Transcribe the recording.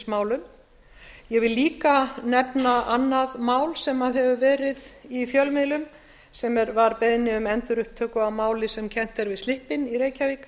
ég vil líka nefna annað mál sem hefur verið í fjölmiðlum sem var beiðni um endurupptöku á máli sem kennt er við slippinn í reykjavík